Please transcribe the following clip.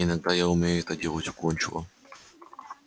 иногда я умею это делать уклончиво